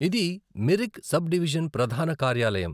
ఇది Mirik sub division ప్రధాన కార్యాలయం.